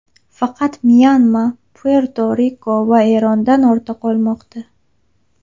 Faqat Myanma, Puerto-Riko va Erondan ortda qolmoqda.